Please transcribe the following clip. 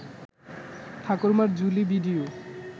ঠাকুরমার ঝুলি ভিডিও